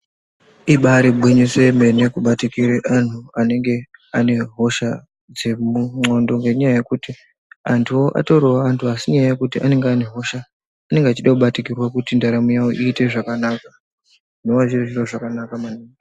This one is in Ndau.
Ibari gwinyiso yemene kubatikire anhu anenge ane hosha dzemundxondo ngenyaya yekuti antuwo atoriwo antu asi nyaya yekuti anenge ane hosha anenge achide kubatikirwa kuti ndaramo yawo iite zvakanaka ndoona zviro zvakanaka maningi.